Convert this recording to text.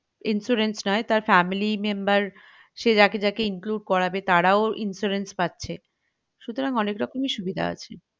Insurance দেই তার family member সে যাকে যাকে include করাবে তারাও insurance পাচ্ছে সুতরাং অনেক রকমই সুবিধা আছে